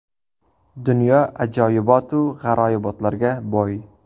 Dunyo ajoyibot-u g‘aroyibotlarga boy.